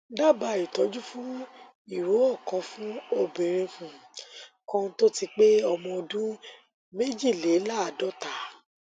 dabaa ìtọjú fún ìró ọkànfún obìnrin um kan tó ti pé ọmọ ọdún méjìléláàádọta